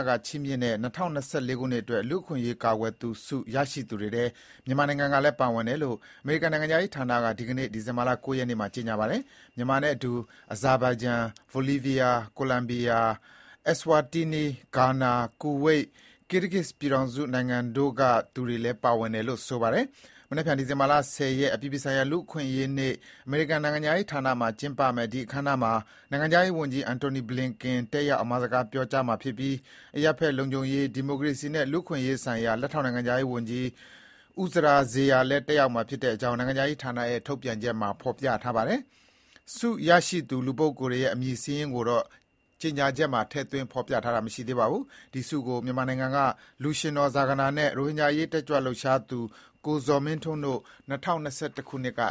က ချီးမြှင့်တဲ့ ၂၀၂၄ ခုနှစ်အတွက် လူ့အခွင့်အရေးကာကွယ်သူဆု ရရှိသူတွေထဲ မြန်မာနိုင်ငံကလည်း ပါဝင်တယ်လို့ အမေရိကန်နိုင်ငံခြားရေးဌာနက ဒီကနေ့ ဒီဇင်ဘာ ၉ ရက်နေ့မှာ ကြေညာပါတယ်။ မြန်မာနဲ့အတူ Azerbaijan ၊ Bolivia ၊ Colombia ၊ Eswatini ၊ Ghana ၊ Kuwait, Kyrgyz ပြည်ထောင်စုနိုင်ငံတို့လည်း ပါဝင်တယ်လို့ ဆိုပါတယ်။ မနက်ဖြန် ဒီဇင်ဘာ ၁၀ ရက်၊ အပြည်ပြည်ဆိုင်ရာ လူ့အခွင့်အရေးနေ့ အမေရိကန်နိုင်ငံခြားရေးဌာနမှာ ကျင်းပမယ့် ဒီအခမ်းအနားမှာ နိုင်ငံခြားရေးဝန်ကြီး Antony Blinken တက်ရောက် အမှာစကား ပြောကြားမှာဖြစ်ပြီး အရပ်ဘက်လုံခြုံရေး၊ ဒီမိုကရေစီနဲ့ လူ့အခွင့်ရေးဆိုင်ရာ လက်ထောက် နိုင်ငံခြားရေးဝန်ကြီး Uzra Zeya လည်း တက်ရောက်မှာဖြစ်ကြောင်း အမေရိကန်နိုင်ငံခြားရေးဌာနရဲ့ ထုတ်ပြန်ချက်မှာ ဖော်ပြထားပါတယ်။ ဆုရရှိသူ လူပုဂ္ဂိုလ်တွေရဲ့ အမည်စာရင်းကိုတော့ ကြေညာချက်မှာ ထည့်သွင်း ဖော်ပြထားခြင်း မရှိပါဘူး။ ဒီဆုကို မြန်မာနိုင်ငံက လူရွှင်တော် ဇာဂနာနဲ့ ရိုဟင်ဂျာအရေး တက်ကြွလှုပ်ရှားသူ ကိုဇော်မင်းထွန်းတို့ ၂၀၁၁ ခုနှစ်က